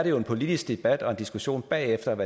jo en politisk debat og diskussion bagefter om